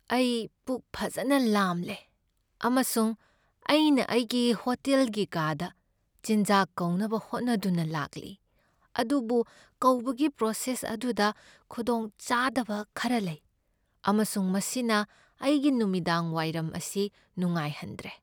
ꯑꯩ ꯄꯨꯛ ꯐꯖꯅ ꯂꯥꯝꯂꯦ, ꯑꯃꯁꯨꯡ ꯑꯩꯅ ꯑꯩꯒꯤ ꯍꯣꯇꯦꯜꯒꯤ ꯀꯥꯗ ꯆꯤꯟꯖꯥꯛ ꯀꯧꯅꯕ ꯍꯣꯠꯅꯗꯨꯅ ꯂꯥꯛꯂꯤ, ꯑꯗꯨꯕꯨ ꯀꯧꯕꯒꯤ ꯄ꯭ꯔꯣꯁꯦꯁ ꯑꯗꯨꯗ ꯈꯨꯗꯣꯡ ꯆꯥꯗꯕ ꯈꯔ ꯂꯩ ꯑꯃꯁꯨꯡ ꯃꯁꯤꯅ ꯑꯩꯒꯤ ꯅꯨꯃꯤꯗꯥꯡ ꯋꯥꯏꯔꯝ ꯑꯁꯤ ꯅꯨꯡꯉꯥꯏꯍꯟꯗ꯭ꯔꯦ꯫